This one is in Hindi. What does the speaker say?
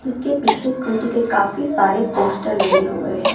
इसके पीछे स्कूटी के काफी सारे पोस्टर लगे हुए है।